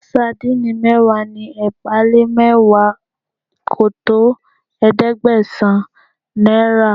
Sardine mẹ́wàá ni ẹgbàá-lé-mẹ́wàá kò tó ẹ̀ẹ́dẹ́gbẹ̀sán naira